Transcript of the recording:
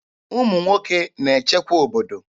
Ụmụ nwoke na-echekwa obodo.